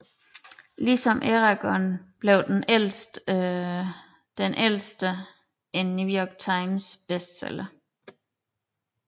Ligesom Eragon blev Den Ældste en New York Times bestseller